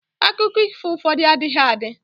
akụkọ ifo ụfọdụ adịghị adi